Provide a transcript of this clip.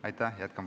Aitäh!